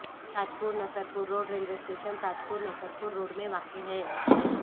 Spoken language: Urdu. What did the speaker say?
تاج پور Nasarpur road railway station Tajpur Nasarpur road میں واقع ہے